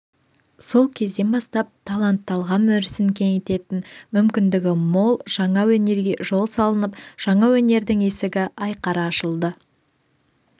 сол кезден бастап талант талғам өрісін кеңітетін мүмкіндігі мол жаңа өнерге жол салынып жаңа өнердің есігі айқара ашылды